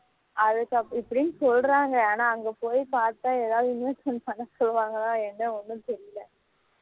அதுக்கு அப்றம் இப்படினு சொல்லுறாங்க ஆனா அங்க போய் பாத்தா ஏதாவது investment பன்ன சொல்லுவாங்களா என்ன ஒண்ணும் தெரியல